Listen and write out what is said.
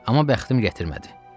Amma bəxtim gətirmədi.